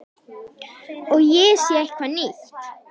Og ég sé eitthvað nýtt.